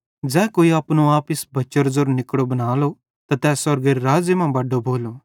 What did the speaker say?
ज़ै कोई अपनो आप इस बच्चेरो ज़ेरो निकड़ो बनालो त तै स्वर्गेरे राज़्ज़े मां बड्डो भोलो